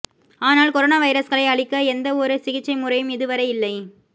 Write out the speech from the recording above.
ஆனால் கொரோனா வைரஸ்களை அழிக்க எந்த ஒரு சிகிச்சை முறையும் இதுவரை இல்லை